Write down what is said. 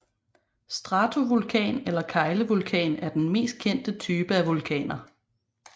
Stratovulkan eller keglevulkan er den mest kendte type af vulkaner